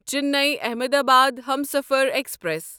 Chennai Ahmedabad Humsafar express